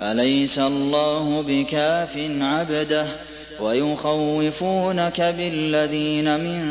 أَلَيْسَ اللَّهُ بِكَافٍ عَبْدَهُ ۖ وَيُخَوِّفُونَكَ بِالَّذِينَ مِن